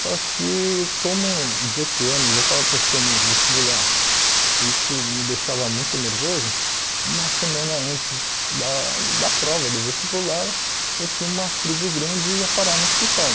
Só que como dezoito anos eu estava prestando o vestibular e isso me deixava muito nervoso, uma semana antes da da prova do vestibular eu tive uma crise grande e ia parar no hospital.